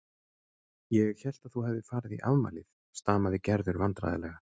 Ég hélt að þú hefðir farið í afmælið stamaði Gerður vandræðalega.